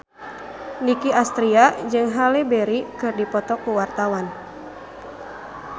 Nicky Astria jeung Halle Berry keur dipoto ku wartawan